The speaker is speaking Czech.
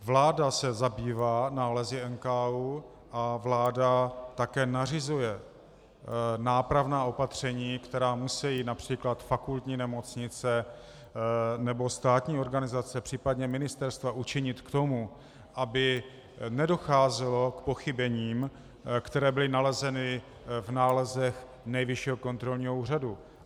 Vláda se zabývá nálezy NKÚ a vláda také nařizuje nápravná opatření, která musejí například fakultní nemocnice nebo státní organizace, případně ministerstva učinit k tomu, aby nedocházelo k pochybením, která byla nalezena v nálezech Nejvyššího kontrolního úřadu.